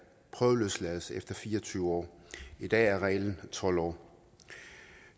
prøveløslades efter fire og tyve år i dag er reglen tolv år